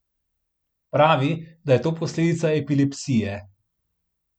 Pravi, da je to posledica epilepsije.